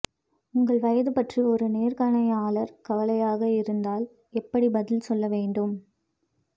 உங்கள் வயது பற்றி ஒரு நேர்காணையாளர் கவலையாக இருந்தால் எப்படி பதில் சொல்ல வேண்டும்